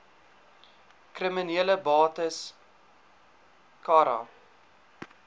kriminele bates cara